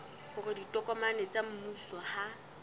hore ditokomane tsa mmuso ha